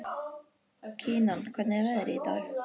Kinan, hvernig er veðrið í dag?